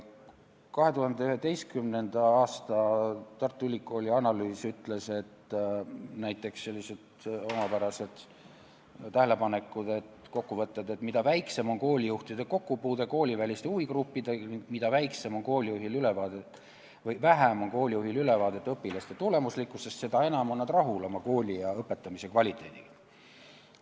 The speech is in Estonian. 2011. aasta Tartu Ülikooli analüüsis tehti näiteks selliseid omapäraseid tähelepanekuid, kokkuvõtteid, et mida väiksem on koolijuhi kokkupuude kooliväliste huvigruppidega, mida vähem on koolijuhil ülevaadet õpilaste tulemuslikkusest, seda enam on ta rahul oma kooli ja sealse õpetamise kvaliteediga.